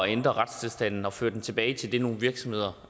ændre retstilstanden og føre den tilbage til det nogle virksomheder